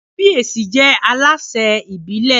Kábíyèsí jẹ́ alásẹ̀ ìbílẹ̀